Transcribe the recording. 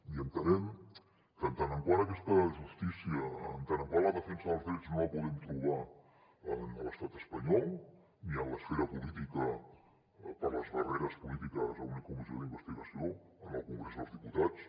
i entenem que en tant que aquesta justícia en tant que la defensa dels drets no la podem trobar en l’estat espanyol ni en l’esfera política per les barreres polítiques a una comissió d’investigació en el congrés dels diputats